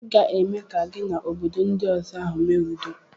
I ga-eme ka gị na obodo ndi ọzọ ahụ mee udo.